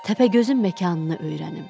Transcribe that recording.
Təpəgözün məkanını öyrənim.